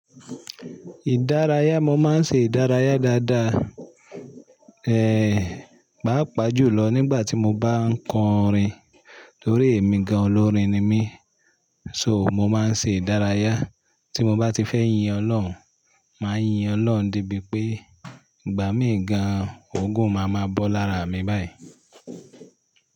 Ìdárayá, mo máa ń ṣe ìdárayá dáadáa. Ehn, páapà jùlọ nígbà tí mo bá ń kọrin torí ẹ̀mí gan-an olórin ni mí. So mo máa ń ṣe ìdárayá. Tí mo bá ti fẹ́ yin Ọlọ́run, màá yin Ọlọ́run dé bí pé, igbà mí gan-an, oogún máa ma bọ́ lára mi báyìí.